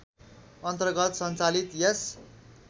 अन्तर्गत सञ्चालित यस